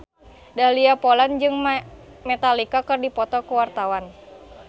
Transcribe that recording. Dahlia Poland jeung Metallica keur dipoto ku wartawan